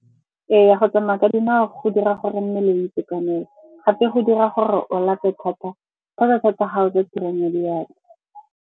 Ee, go tsamaya ka dinao go dira gore mmele o itekanele. Gape go dira gore o lape thata fa ba tlhokega ko tirong ya diatla.